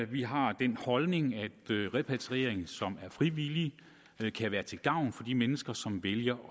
vi har den holdning at repatriering som er frivillig kan være til gavn for de mennesker som vælger